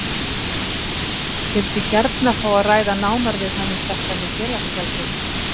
Vildi gjarna fá að ræða nánar við hann um þetta með félagsgjaldið.